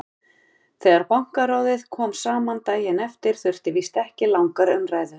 Þegar Bankaráðið kom saman daginn eftir þurfti víst ekki langar umræður.